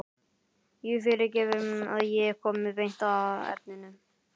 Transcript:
Þú fyrirgefur að ég komi beint að efninu.